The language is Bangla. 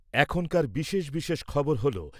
এখনকার বিশেষ বিশেষ খবর হলো